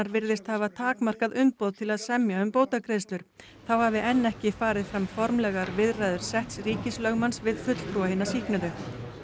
virðist hafa takmarkað umboð til að semja um bótagreiðslur þá hafi enn ekki farið fram formlegar viðræður setts ríkislögmanns við fulltrúa hinna sýknuðu